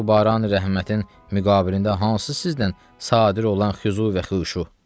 Bəs bu Barani Rəhmətin müqabilində hansı sizdən sadir olan xüzu və xuşu?